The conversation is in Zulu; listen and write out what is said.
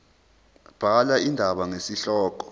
bhala indaba ngesihloko